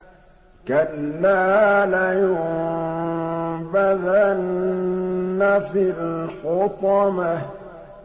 كَلَّا ۖ لَيُنبَذَنَّ فِي الْحُطَمَةِ